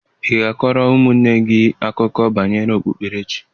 Ị ga-akọrọ ụmụnne gị akụkọ banyere okpukperechi.